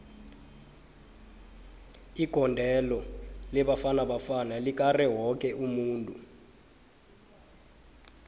igondelo lebafana bafana likare woke umuntu